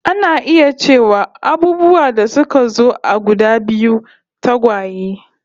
Ana iya cewa abubuwa da suka zo a guda biyu, tagwaye